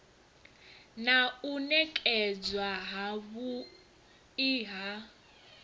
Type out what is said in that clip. na u nekedzwa havhui ha